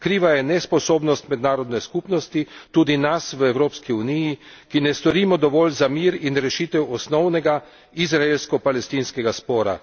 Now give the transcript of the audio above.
Kriva je nesposobnost mednarodne skupnosti, tudi nas v Evropski uniji, ki ne storimo dovolj za mir in rešitev osnovnega, izraelsko palestinskega spora.